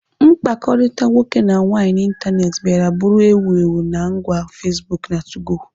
mkpakọrịta nwoke na nwaanyị n'ịntanetị bịara bụrụ ewu ewu na ngwa Facebook na 2go